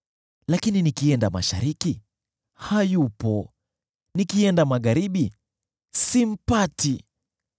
“Lakini nikienda mashariki, hayupo; nikienda magharibi, simpati.